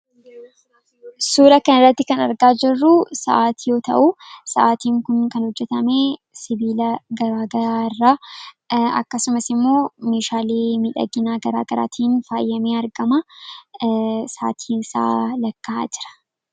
suura kan irratti kan argaa jirruu sa’ati yoo ta'uu sa’atiin kun kan hojjetame sibiila garaagaraa irraa akkasumas immoo mishaalii midhaginaa garaa garaatiin faayyamee argama saatiin isaa lakka'a jira